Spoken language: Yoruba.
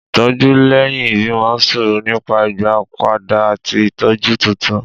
Ìtọ́jú lẹ́yìn ìbímọ sọ̀rọ̀ nípa ìgbàpadà àti ìtọ́jú tuntun.